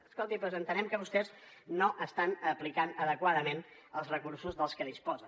escolti doncs entenem que vostès no estan aplicant adequadament els recursos de que disposen